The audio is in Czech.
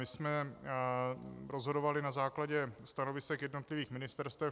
My jsme rozhodovali na základě stanovisek jednotlivých ministerstev.